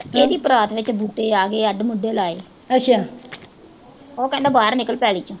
ਇਹਦੀ ਪਰਾਤ ਵਿੱਚ ਬੂਟੇ ਆਗੇ, ਅੱਧ-ਪੁਚੱਧੇ ਲਾਏ ਉਹ ਕਹਿੰਦਾ ਬਾਹਰ ਨਿਕਲ ਪੈਲੀ ਚੋਂ